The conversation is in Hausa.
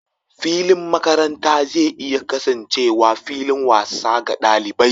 Filin makaranta zai iya kasancewa fillin wasa ga ɗalibai.